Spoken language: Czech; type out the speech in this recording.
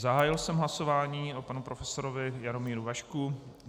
Zahájil jsem hlasování o panu profesorovi Jaromíru Vašků.